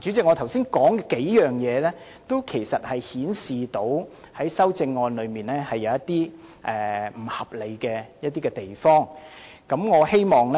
主席，我剛才提到的數點均顯示修正案裏一些不合理的地方，我希望